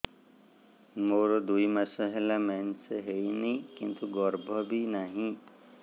ମୋର ଦୁଇ ମାସ ହେଲା ମେନ୍ସ ହେଇନି କିନ୍ତୁ ଗର୍ଭ ବି ନାହିଁ